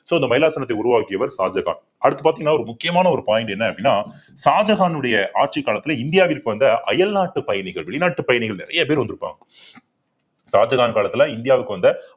so இந்த மைலாசனத்தை உருவாக்கியவர் ஷாஜகான் அடுத்து பார்த்தீங்கன்னா ஒரு முக்கியமான ஒரு point என்ன அப்படின்னா ஷாஜகானுடைய ஆட்சி காலத்துல இந்தியாவிற்கு வந்த அயல்நாட்டு பயணிகள் வெளிநாட்டு பயணிகள் நிறைய பேர் வந்திருப்பாங்க ஷாஜகான் காலத்துல இந்தியாவுக்கு வந்த